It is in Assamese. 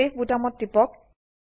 চেভ বোতামত টিপক